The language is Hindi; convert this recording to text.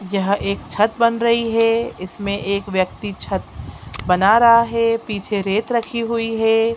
यह एक छत बन रही है इसमे एक व्यक्ति छत बना रहा हैपीछे रेत रखी हुई है।